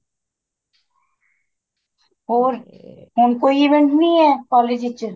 ਹੋਰ ਹੁਣ ਕੋਈ event ਨੀਂ ਏ college ਵਿੱਚ